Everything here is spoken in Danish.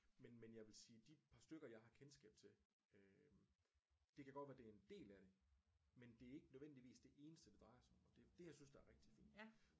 Men men jeg vil sige de par stykker jeg har kendskab til øh det kan godt være det er en del af det men det er ikke nødvendigvis det eneste det drejer sig om og det er dét jeg synes er rigtig fint